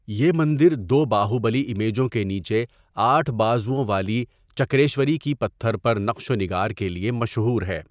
یہ مندر دو باہوبلی امیجوں کے نیچے آٹھ بازوؤں والی چکریشوری کی پتھر پر نقش و نگار کے لیے مشہور ہے۔